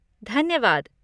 धन्यवाद!